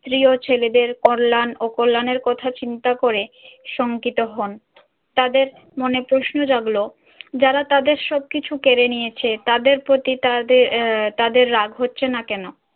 স্ত্রী ও ছেলেদের কল্যাণ ও কল্যাণের কথা চিন্তা করে শংকিত হন। তাদের মনে প্রশ্ন জাগলো যারা তাদের সবকিছু কেড়ে নিয়েছে তাদের প্রতি তাদে~ আহ তাদের রাগ হচ্ছে না কেন?